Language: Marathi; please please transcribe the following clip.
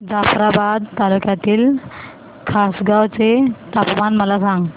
जाफ्राबाद तालुक्यातील खासगांव चे तापमान मला सांग